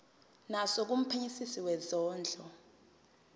naso kumphenyisisi wezondlo